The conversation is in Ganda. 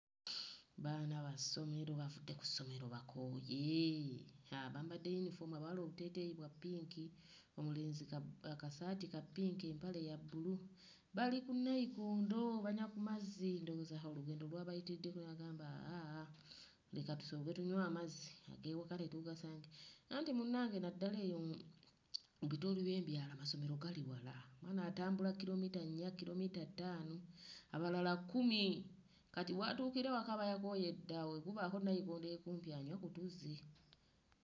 Baana bassomero bavudde ku ssomero bakooye, haa bambadde yunifoomu abawala obuteeteeyi bwa ppinki omulenzi ka, akasaati ka ppinki empale ya bbulu, bali ku nnayikondo banywa ku mazzi ndowooza haa olugendo lwa bayitiriddeko ne bagamba aaa leka tusooke tunywe amazzi ag'ewaka tetuugasange anti munnange naddala eyo mu bitundu by'ebyalo amasomero gali wala, omwana atambula kkirommita nnya kkirommita ttaano abalala kkumi kati w'atuukira ewaka aba yakooye dda, bwe kubaako nnayikondo ey'okumpi anywe ku tuzzi.